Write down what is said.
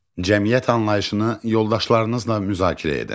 Cəmiyyət anlayışını yoldaşlarınızla müzakirə edin.